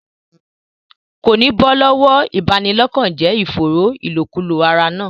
Kò ní bọ́ lọ́wọ́ ìbanilọ́kànjẹ́ ìfòòró ìlòkulò ara náà.